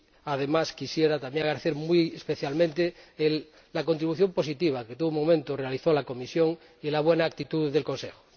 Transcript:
Además, quisiera también agradecer muy especialmente la contribución positiva que, en todo momento, realizó la Comisión y la buena actitud del Consejo.